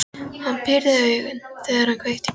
Hann pírði augun, þegar hann kveikti í pípunni.